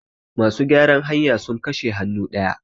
masu gyaran hanya sun kashe hannu daya